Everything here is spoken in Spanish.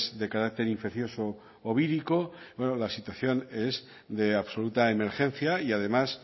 de carácter infeccioso o vírico bueno la situación es de absoluta emergencia y además